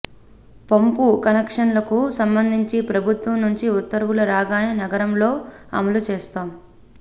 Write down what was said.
పంపు కనెక్షన్లకు సంబంధించి ప్రభుత్వం నుంచి ఉత్తర్వులు రాగానే నగరంలో అమలు చేస్తాం